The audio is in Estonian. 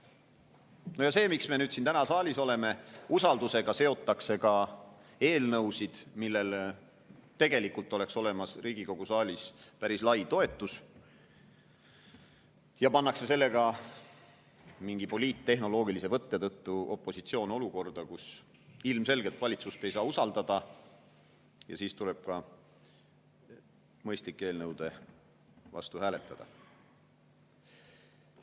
Rääkides sellest, miks me siin saalis oleme: usaldus seotakse ka eelnõusid, millele tegelikult oleks Riigikogu saalis olemas päris lai toetus, ja mingi poliittehnoloogilise võtte tõttu pannakse opositsioon olukorda, kus ilmselgelt ei saa valitsust usaldada ja tuleb ka mõistlike eelnõude vastu hääletada.